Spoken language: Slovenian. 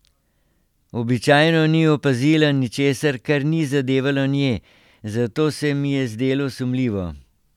Običajno ni opazila ničesar, kar ni zadevalo nje, zato se mi je zdelo sumljivo.